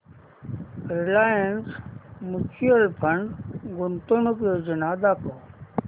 Reliance mutual fund गुंतवणूक योजना दाखव